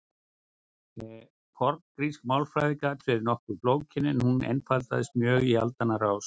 forngrísk málfræði gat verið nokkuð flókin en hún einfaldaðist mjög í aldanna rás